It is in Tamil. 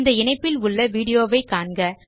இந்த இணைப்பில் உள்ள வீடியோ வை காண்க